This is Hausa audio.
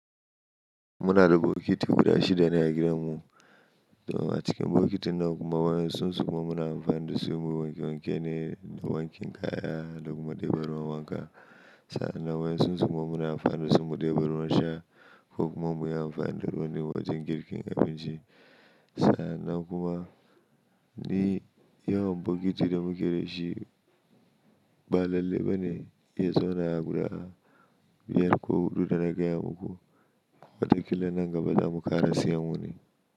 Muna da bokiti guda shida ne a gidan mu. To, matukin bokitin nan kuma wai sun tsinko mun anfanin dasu muyi wanke wanke ne da wankin kaya da kuma ɗebe ruwan wanka. Sannan wai sun tsinko mun anfanin dasu mu ɗebe ruwan sha ko kuma muyi amfani da ruwanin wajen girkin abinci. Sannan kuma ni yawan bokiti da muke dashi ba lalle ba ne, ya zo na guda biyar ko huɗu da na gaya muku. Wataƙila nan gaba za mu ƙara siyan wani.